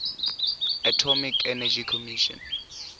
atomic energy commission